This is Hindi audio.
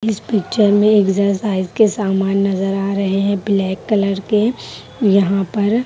इस पिक्चर में एक्सरसाइज के सामान नजर आ रहें हैं ब्लैक कलर के यहाँ पर--